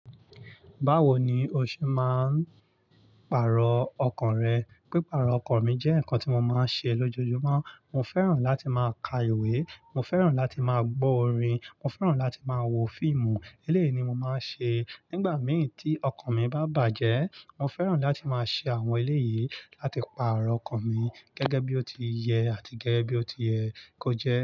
Báwo ni o ṣe máa ń pàrọ̀ ọkàn rẹ? Pípàrọ̀ ọkàn mi jẹ́ ǹkan tí mo máa ń ṣe lójoojúmọ́. Mo fẹ́ràn láti máa ka ìwé, mo fẹ́ràn láti máa gbọ́ orin, mo fẹ́ràn láti máa wo fíìmù. Eléyìí ni mo máa ń ṣe nígbà mìíràn tí ọkàn mi bá bàjẹ́. Mo fẹ́ràn láti máa ṣe àwọn eléyìí láti pàrọ̀ ọkàn mi gẹ́gẹ́ bí ó ti yẹ àti gẹ́gẹ́ bí ó ti yẹ kó jẹ́